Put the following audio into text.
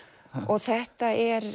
þetta er